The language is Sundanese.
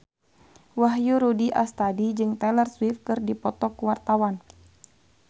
Wahyu Rudi Astadi jeung Taylor Swift keur dipoto ku wartawan